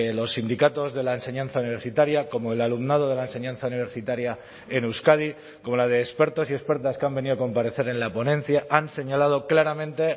los sindicatos de la enseñanza universitaria como el alumnado de la enseñanza universitaria en euskadi como la de expertos y expertas que han venido a comparecer en la ponencia han señalado claramente